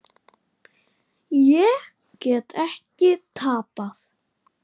Ég get ekki tapað.